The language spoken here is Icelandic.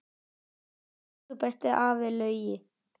Elsku besti afi Laugi.